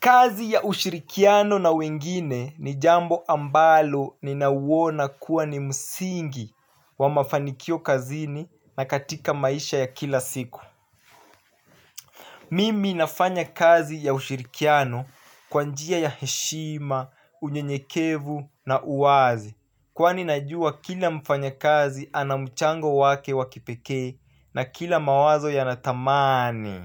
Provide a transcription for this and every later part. Kazi ya ushirikiano na wengine ni jambo ambalo ninauwona kuwa ni msingi wa mafanikio kazini na katika maisha ya kila siku. Mimi nafanya kazi ya ushirikiano kwa njia ya heshima, unyenyekevu na uwazi. Kwani najua kila mfanya kazi anamchango wake wa kipekee na kila mawazo yanathamani.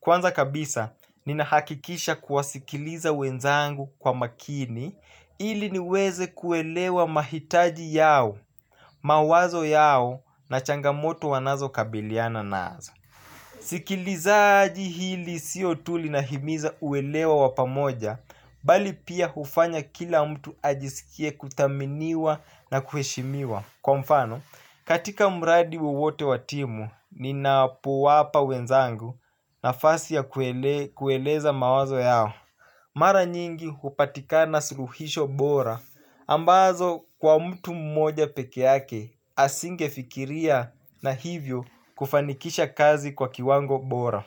Kwanza kabisa, ninahakikisha kuwasikiliza wenzangu kwa makini ili niweze kuelewa mahitaji yao, mawazo yao na changamoto wanazo kabiliana nazo. Sikilizaji hili sio tu linahimiza uelewa wa pamoja, bali pia hufanya kila mtu ajisikie kuthaminiwa na kuheshimiwa. Kwa mfano, katika mradi wowote wa timu, ninapowapa wenzangu nafasi ya kueleza mawazo yao. Mara nyingi hupatikana suluhisho bora ambazo kwa mtu mmoja peke yake asinge fikiria na hivyo kufanikisha kazi kwa kiwango bora.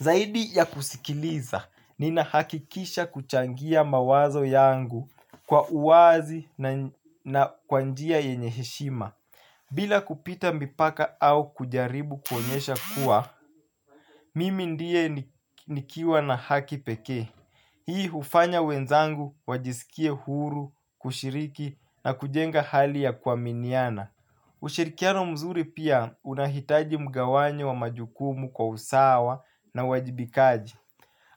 Zaidi ya kusikiliza, ninahakikisha kuchangia mawazo yangu kwa uwazi na kwa njia yenye heshima. Bila kupita mipaka au kujaribu kuonyesha kuwa, mimi ndiye nikiwa na haki pekee. Hii hufanya wenzangu wajisikie huru, kushiriki na kujenga hali ya kuaminiana. Ushirikiano mzuri pia unahitaji mgawanyo wa majukumu kwa usawa na uwajibikaji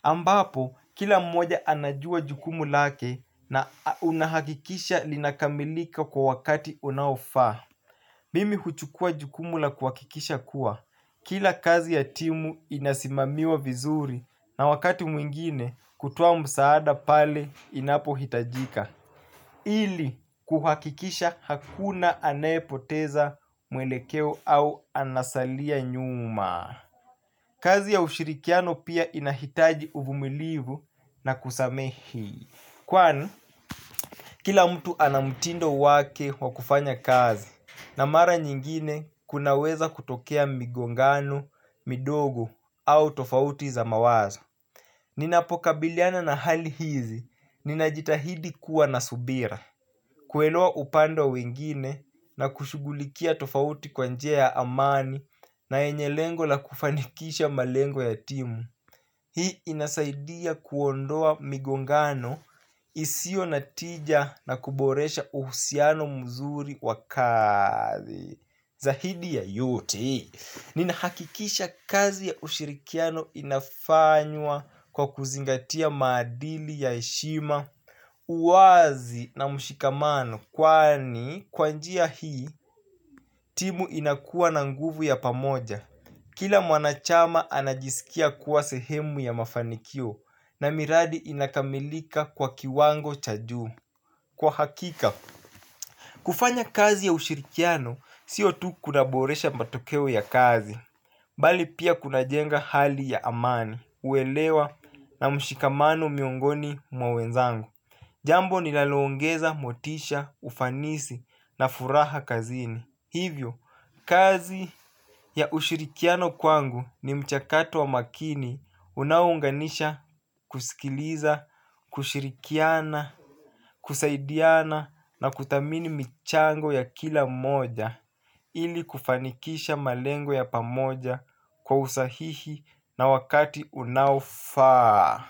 ambapo kila mmoja anajua jukumu lake na unahakikisha linakamilika kwa wakati unaofa. Mimi huchukua jukumu la kuhakikisha kuwa kila kazi ya timu inasimamiwa vizuri na wakati mwingine kutoa msaada pale inapohitajika ili kuhakikisha hakuna anayepoteza mwelekeo au anasalia nyuma. Kazi ya ushirikiano pia inahitaji uvumilivu na kusamehi kwani, kila mtu ana mtindo wake wakufanya kazi na mara nyingine kunaweza kutokea migongano, midogo au tofauti za mawazo. Ninapokabiliana na hali hizi, ninajitahidi kuwa na subira. Kuelewa upande wa wengine na kushugulikia tofauti kwa njia ya amani na yenye lengo la kufanikisha malengo ya timu. Hii inasaidia kuondoa migongano isio na tija na kuboresha uhusiano mzuri wa kazi. Zaidi ya yote, ninahakikisha kazi ya ushirikiano inafanywa kwa kuzingatia madili ya heshima, uwazi na mshikamano kwani kwa njia hii timu inakua na nguvu ya pamoja. Kila mwanachama anajisikia kuwa sehemu ya mafanikio na miradi inakamilika kwa kiwango cha juu. Kwa hakika, kufanya kazi ya ushirikiano sio tu kunaboresha matokeo ya kazi, bali pia kunajenga hali ya amani, uelewa na mshikamano miongoni mwa wenzangu. Jambo nilalongeza, motisha, ufanisi na furaha kazini. Hivyo, kazi ya ushirikiano kwangu ni mchakato wa makini unaounganisha kusikiliza, kushirikiana, kusaidiana na kuthamini michango ya kila mmoja ili kufanikisha malengo ya pamoja kwa usahihi na wakati unaofaa.